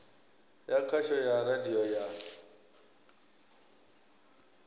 ya khasho ya radio ya